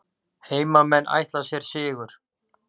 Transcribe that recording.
Heimamenn ætla sér sigur